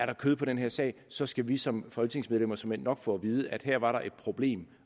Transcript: var kød på den sag så skal vi som folketingsmedlemmer såmænd nok få at vide at her var der et problem